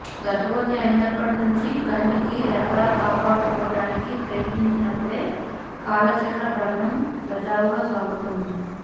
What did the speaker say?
గర్భవతి అయినప్పటి నుంచి కంటికి రెప్పలా కాపాడుకోవటానికి ప్రయత్నించినపుడే కాలచక్ర భ్రమణం సజావుగా సాగుతోంది